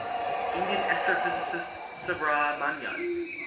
indian astrophysicist subrahmanyan